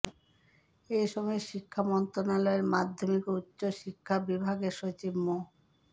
এ সময় শিক্ষা মন্ত্রণালয়ের মাধ্যমিক ও উচ্চ শিক্ষা বিভাগের সচিব মো